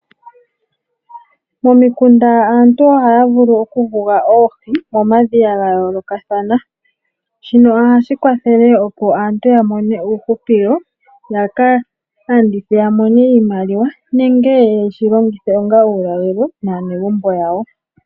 Momikunda aantu ohaya vulu okuyuga oohi momadhiya ga yoolokathana . Shino ohashi kwathele opo aantu yamone uuhupilo ,ya ka landithe ya mone iimaliwa nenge yeshi longithe onga uulalelo naanegumbo yawo.